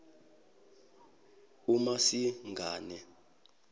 umasingane